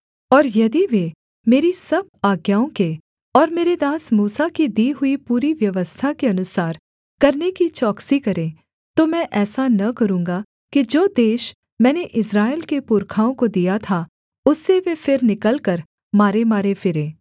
और यदि वे मेरी सब आज्ञाओं के और मेरे दास मूसा की दी हुई पूरी व्यवस्था के अनुसार करने की चौकसी करें तो मैं ऐसा न करूँगा कि जो देश मैंने इस्राएल के पुरखाओं को दिया था उससे वे फिर निकलकर मारेमारे फिरें